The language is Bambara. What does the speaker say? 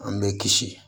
An bɛ kisi